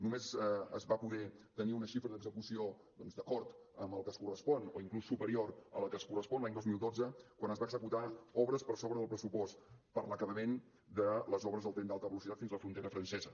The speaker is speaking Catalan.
només es va poder tenir una xifra d’execució doncs d’acord amb el que es correspon o inclús superior a la que es correspon l’any dos mil dotze quan es van executar obres per sobre del pressupost per l’acabament de les obres del tren d’alta velocitat fins a la frontera francesa